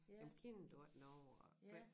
Jamen kender du ikke noget og